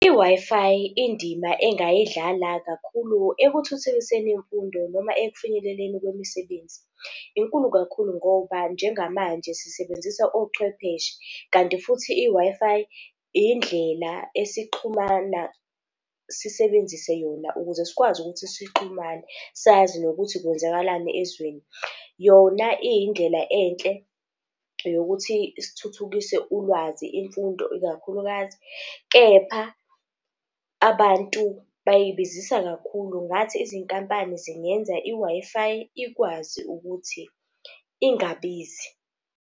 I-Wi-Fi, indima engayidlala kakhulu ekuthuthukiseni imfundo noma ekufinyeleleni kwemisebenzi inkulu kakhulu ngoba njengamanje sisebenzisa ochwepheshe kanti futhi, i-Wi-Fi, indlela esixhumana sisebenzise yona, ukuze sikwazi ukuthi sixhumane sazi nokuthi kwenzakalani ezweni. Yona iyindlela enhle yokuthi sithuthukise ulwazi imfundo ikakhulukazi. Kepha abantu bayibizisa kakhulu, ngathi izinkampani zingenza i-Wi-Fi ikwazi ukuthi ingabizi.